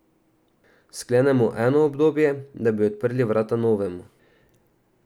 Sklenemo eno obdobje, da bi odprli vrata novemu.